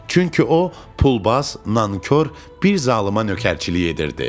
Çünki o, pulbaz, nankor bir zalıma nökərçilik edirdi.